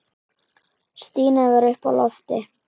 Stína var uppi á lofti.